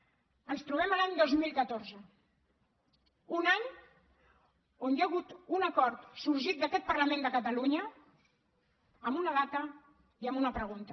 ens trobem en l’any dos mil catorze un any on hi ha hagut un acord sorgit d’aquest parlament de catalunya amb una data i amb una pregunta